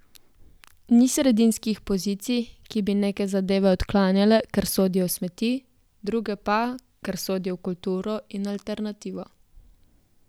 Ni sredinskih pozicij, ki bi neke zadeve odklanjale, ker sodijo v smeti, druge pa, ker sodijo v kulturo in alternativo.